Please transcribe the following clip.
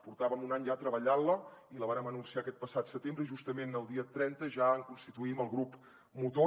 portàvem un any ja treballant la i la vàrem anunciar aquest passat setembre i justament el dia trenta ja en constituïm el grup motor